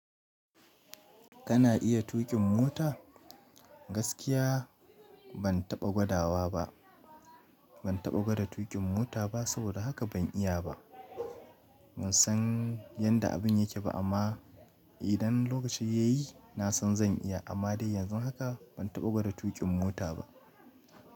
Kana iya tuƙin mota? Gaskiya ban taɓa gwada ba ban taɓa gwada tuƙin mota ba saboda haka ban iya ba. Ban san yanda abun yake ba amma idan lokaci ya yi na san zan iya amma dai yanzu haka ban taɓa gwada tuƙin mota ba.